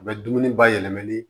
U bɛ dumuni bayɛlɛmali